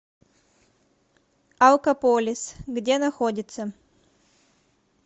алкополис где находится